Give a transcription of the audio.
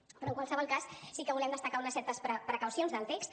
però en qualsevol cas sí que volem destacar unes certes precaucions del text